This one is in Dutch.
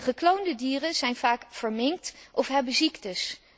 Gekloonde dieren zijn vaak verminkt of hebben ziektes.